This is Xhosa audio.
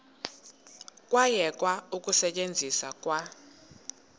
kwayekwa ukusetyenzwa kwa